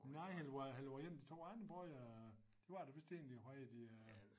Nej eller var eller var det en af de 2 andre brødre det var det vist egentlig hvad hed de øh